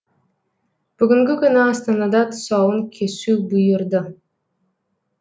бүгінгі күні астанада тұсауын кесу бұйырды